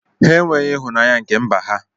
Ha enweghị ịhụnanya nke mba ha.